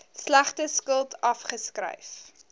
slegte skuld afgeskryf